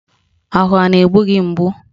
Ahụ a na-egbu gị mgbu?